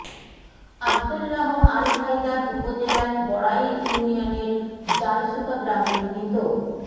আবদুল্লাহ আল হায়দার উপজেলার বড়াইল ইউনিয়নের জালশুকা গ্রামের মৃত